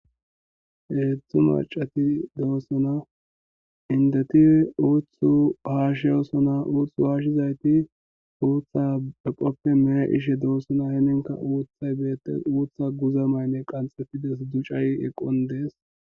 Hezhu macati de'osona indeti uthu hashosona uthaka eqope meyishe de'osona